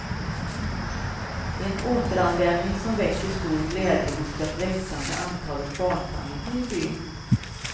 En återanvändning som väcker stor glädje hos det växande antalet barnfamiljer i byn.